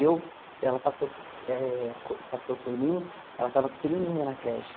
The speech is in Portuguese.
Eu ela passou eh passou por mim, ela estava pequenininha na creche.